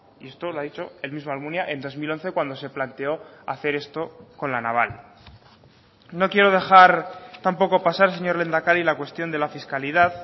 y esto lo ha dicho el mismo almunia en dos mil once cuando se planteó hacer esto con la naval no quiero dejar tampoco pasar señor lehendakari la cuestión de la fiscalidad